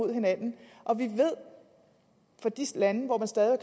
hinanden og vi ved fra de lande hvor man stadig